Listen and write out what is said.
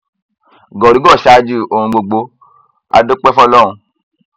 gólùgò ṣáájú ohun gbogbo á dúpẹ fọlọrun